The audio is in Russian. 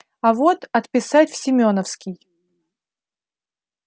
а вот отписать в семёновский